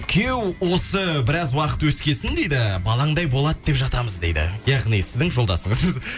күйеу осы біраз уақыт өскесін дейді балаңдай болады деп жатамыз дейді яғни сіздің жолдасыңыз